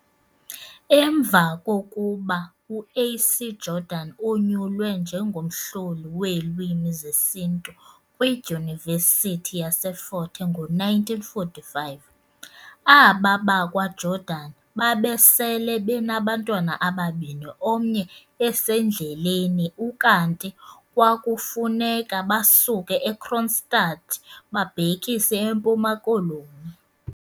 Emva kokuba u A.C Jordan onyulwe njengomhlohli weelwimi zesiNtu kwi dyunivesithi yaseFort Hare 1945, aba bakwa Jordan basele benabantwana ababini omnye esendleleni ukanti kwakufuneka basuke eKroonstad babhekise eMpuma Koloni.